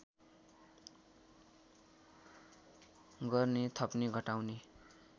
गर्ने थप्ने घटाउने